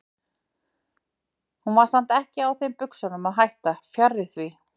Hún var samt ekki á þeim buxunum að hætta, fjarri því.